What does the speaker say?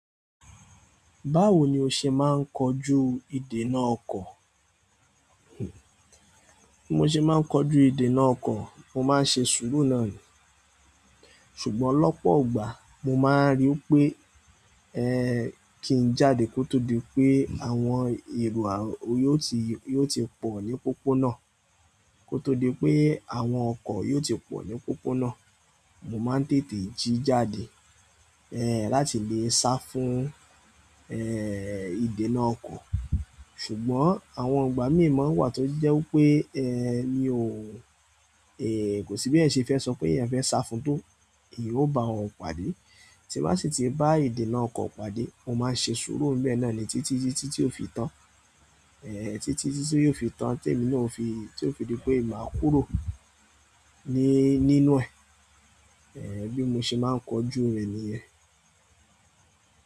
Báwo ni o ṣe máa ń kojú ìdènà ọkọ̀? Bí mo ṣe máa ń kojú ìdènà ọkọ̀, mo máa ń ṣe sùúrù náà ni. Ṣùgbọ́n lọ́pọ̀ ọgbà, mo máa ń rí pé, ẹ́ kí n jáde kó tó di pé àwọn èrò yóò ti, yóò ti pọ̀ ní pópó náà. Kó tó di pé àwọn ọkọ̀ yóò ti pọ̀ ní pópó náà. Mo máa ń tètè jí jáde, ẹ́ láti lè sá fún, ẹ́ ìdènà ọkọ̀. Ṣùgbọ́n àwọn ìgbà mí mọ́ ń wà tó jẹ́ pé ẹ́ ni òun, ẹ́ kò sí bí ẹ́ ṣe fẹ́ sọ pé ìyẹn fẹ́ sá fún tó, ìyan o ba won pàdé. Tí bá sì ti bá ìdènà ọkọ̀ pàdé, mo máa ṣe sùúrù ńbe naaní títí títí tí ó fi tán. Ẹ̀ títí títí tí ó fi tán tí èmi náà ó fi, tí ó fi di pé màá kúrò ní, nínú ẹ̀. Ẹ̀ bí mo ṣe máa ń kojú rẹ̀ nìyẹn.